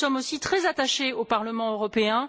Nous y sommes aussi très attachés au Parlement européen.